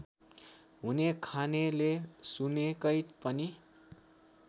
हुनेखानेले सुनकै पनि